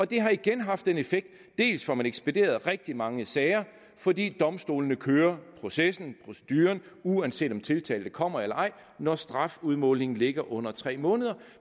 det har igen haft en effekt dels får man ekspederet rigtig mange sager fordi domstolene kører processen proceduren uanset om tiltalte kommer eller ej når strafudmålingen ligger under tre måneder